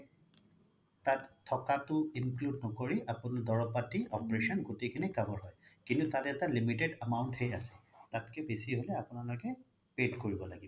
তাত থকাতো include নকৰি আপোনাৰ দৰপ পাতি operation গুতেই খিনি cover হয় কিন্তু তাতে এটা limited amount হে আছে তাতকে বেছি হ্'লে আপোনালোকে pay কৰিব লাগিব